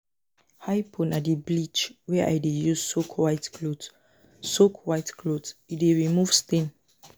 Hypo na di bleach wey I dey use soak white cloth, e dey remove stain.